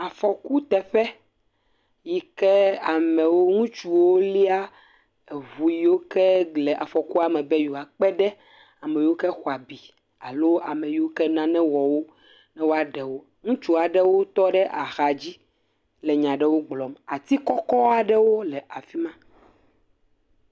Afɔkuteƒe yi ke amewo ŋutsuwo lia eŋu yiwo ke le afɔkua me be yewoakpe ɖe ame yikewo xɔ abi alo ame yiwo ke nane wɔ wo ne woaɖe wo, ŋutsu aɖewo tɔ ɖe axa dzi le nya aɖewo gblɔm, ati kɔkɔ aɖewo le afi ma.